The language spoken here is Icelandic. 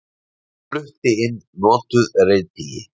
Flutti inn notuð reiðtygi